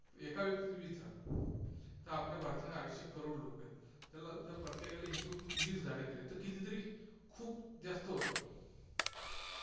एका एका व्यक्तीची वीस झाडं, तर आपल्या भारतामध्ये अडीचशे करोड लोकं आहेत. त्याला जर प्रत्येकाला into वीस झाडं केली, तर कितीतरी खूप जास्त होतात.